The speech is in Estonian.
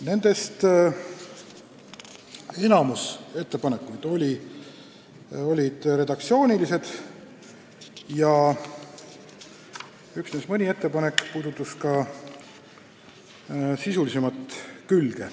Nendest enamik oli redaktsioonilised ja üksnes mõni ettepanek puudutas ka sisulisemat külge.